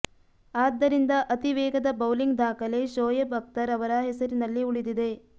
ಆದ್ದರಿಂದ ಅತಿ ವೇಗದ ಬೌಲಿಂಗ್ ದಾಖಲೆ ಶೋಯೆಬ್ ಅಖ್ತರ್ ಅವರ ಹೆಸರಿನಲ್ಲಿ ಉಳಿದಿದೆ